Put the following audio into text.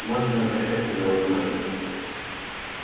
можете не обращать на него внимания